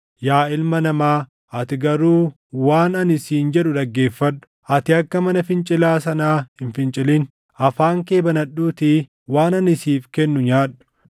Yaa ilma namaa, ati garuu waan ani siin jedhu dhaggeeffadhu; ati akka mana fincilaa sanaa hin fincilin; afaan kee banadhuutii waan ani siif kennu nyaadhu.”